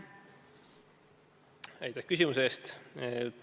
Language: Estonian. Aitäh küsimuse eest!